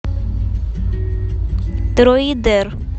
дроидер